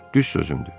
Düz sözümdür.